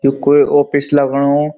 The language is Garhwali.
ये कोई ऑफिस लगणु।